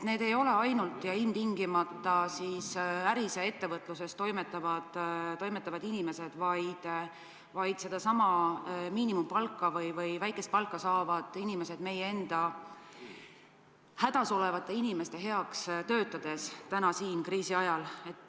Need ei ole ainult ja ilmtingimata äris ja ettevõtluses toimetavad inimesed, vaid sedasama miinimumpalka või väikest palka saavad inimesed meie enda hädas olevate inimeste heaks töötades täna kriisi ajal.